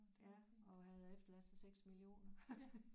Ja og havde efterladt sig 6 millioner